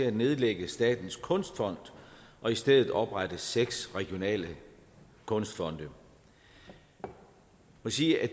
at nedlægge statens kunstfond og i stedet oprette seks regionale kunstfonde jeg må sige at